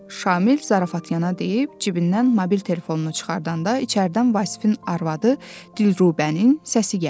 Şamil zarafatyana deyib cibindən mobil telefonunu çıxardanda içəridən Vasifin arvadı Dilrubənin səsi gəldi.